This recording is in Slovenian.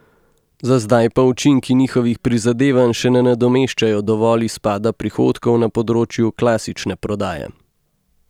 Za zdaj pa učinki njihovih prizadevanj še ne nadomeščajo dovolj izpada prihodkov na področju klasične prodaje.